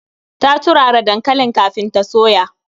Ta turara dankalin kafin ta soya.